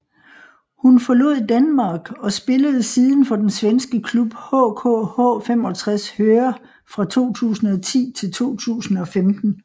Hun forlod Denmark og spillede siden for den svenske klub HK H 65 Höör fra 2010 til 2015